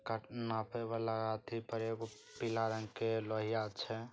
काटे नापे वाला अथी पर एगो पीला रंग के लोहिया छै।